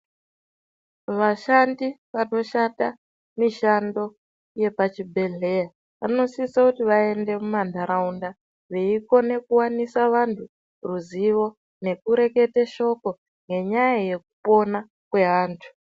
Vashandi vanoshanda mishando yepachibhedhleya, vanosisa kuti vaende mumantharaunda veikone kuwanisa vanthu ruzivo, nekurekete shoko renyaya yekupona kweanthu.